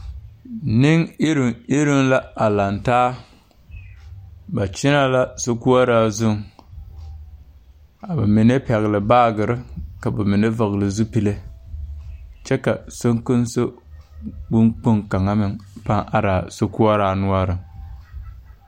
Neŋ iruŋ iruŋ la a lang taa ba kyɛnɛ la sokoɔraa zuŋ a ba mine pɛgle baagyirre ka ba mine vɔgle zupile kyɛ ka sonkonso bon kpoŋ kaŋa meŋ pãã araa sokoɔraa noɔreŋ.